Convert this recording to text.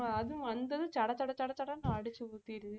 ஆமா அதுவும் வந்ததும் சட சட சட சடன்னு அடிச்சு ஊத்திருது